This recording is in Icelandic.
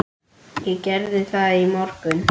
Ég gerði það í morgun.